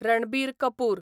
Ranbir Kapoor